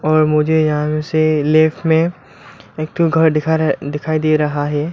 और मुझे यहां से लेफ्ट में एक ठो घर दिखा रहा दिखाई दे रहा है।